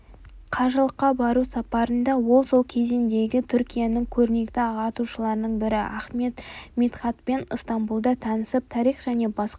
қажылыққа бару сапарында ол сол кезеңдегі түркияның көрнекті ағартушыларының бірі ахмед мидхатпен ыстамбұлда танысып тарих және басқа да